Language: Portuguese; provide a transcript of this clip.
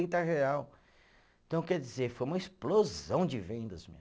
real, então, quer dizer, foi uma explosão de vendas.